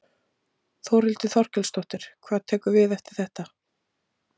Þórhildur Þorkelsdóttir: Hvað tekur við eftir þetta?